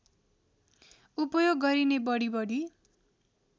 उपयोग गरिने बढिबढि